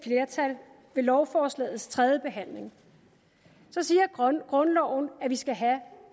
flertal ved lovforslagets tredjebehandling siger grundloven at vi skal have